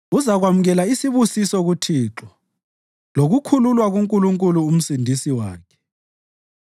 Uzakwamukela isibusiso kuThixo lokukhululwa kuNkulunkulu uMsindisi wakhe.